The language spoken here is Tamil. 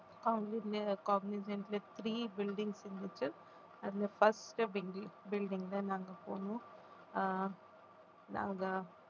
காக்னிஸண்ட்ல three buildings இருந்துச்சு அதுல first building building தான் நாங்க போனோம் ஆஹ் நாங்க